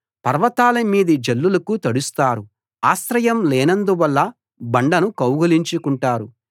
పర్వతాల మీది జల్లులకు తడుస్తారు ఆశ్రయం లేనందువల్ల బండను కౌగలించుకుంటారు